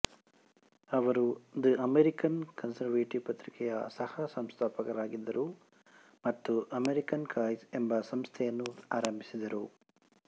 ಅವರು the American conservative ಪತ್ರಿಕೆಯ ಸಹಸಂಸ್ಥಾಪಕರಾಗಿದ್ದರು ಮತ್ತು ಅಮೆರಿಕನ್ ಕಾಝ್ ಎಂಬ ಸಂಸ್ಥೆಯನ್ನೂ ಆರಂಭಿಸಿದರು